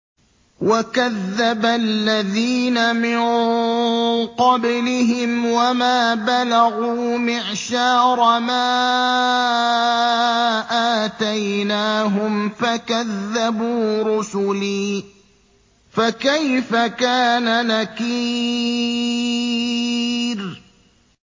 وَكَذَّبَ الَّذِينَ مِن قَبْلِهِمْ وَمَا بَلَغُوا مِعْشَارَ مَا آتَيْنَاهُمْ فَكَذَّبُوا رُسُلِي ۖ فَكَيْفَ كَانَ نَكِيرِ